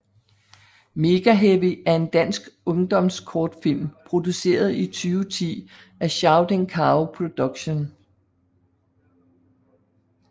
Megaheavy er en dansk ungdomskortfilm produceret i 2010 af Shouting Cow Productions